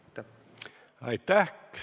Aitäh!